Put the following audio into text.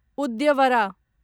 उद्यवरा